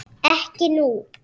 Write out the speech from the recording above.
Ekki nú.